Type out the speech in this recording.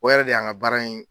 O yɛrɛ de y'an ka baara in